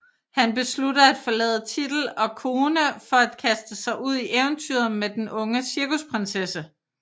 Han beslutter at forlade titel og kone for at kaste sig ud i eventyret med den unge cirkusprinsesse